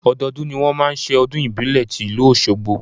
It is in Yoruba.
Ọdọọdún ni wọn máa ń ṣe ọdún ìbílẹ̀ ti ìlú Oṣogbo.